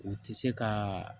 U ti se ka